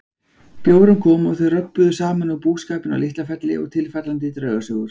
Bjórinn kom og þau röbbuðu saman um búskapinn á LitlaFelli og tilfallandi draugasögur.